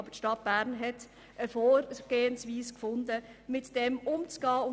Aber die Stadt Bern hat eine Vorgehensweise gefunden, damit umzugehen.